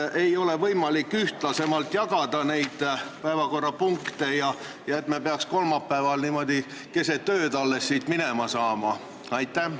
Kas ei oleks võimalik päevakorrapunkte ühtlasemalt jagada, et me ei peaks kolmapäeval alles niimoodi keset ööd siit minema saama?